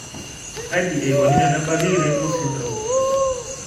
Kaji eikoni tenebaki Robinow syndrome ?